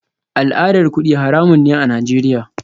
Al'adar kudi haramun ne a Najeriya